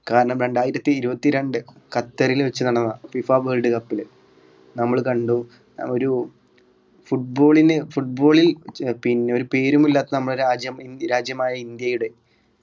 കാരണം രണ്ടായിരത്തി ഇരുപത്തി രണ്ട് ഖത്തറിൽ വെച്ച് നടന്ന FIFA world cup ൽ നമ്മള് കണ്ടു ഒരു football ന് football ൽ ഏർ പിന്നെ ഒരു പേരും ഇല്ലാത്ത നമ്മുടെ രാജ്യം ഇ രാജ്യമായ ഇന്ത്യയുടെ